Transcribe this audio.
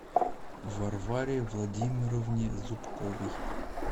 варваре владимировне зубковой